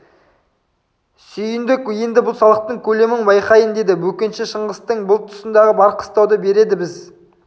сүйіндік енді бұл салықтың көлемін байқайын деді бөкенші шыңғыстың бұл тұсындағы бар қыстауды береді біз